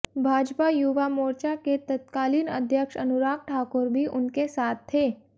भाजपा युवा मोर्चा के तत्कालीन अध्यक्ष अनुराग ठाकुर भी उनके साथ थे